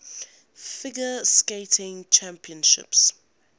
figure skating championships